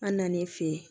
An nan'i fe yen